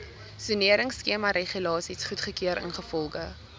soneringskemaregulasies goedgekeur ingevolge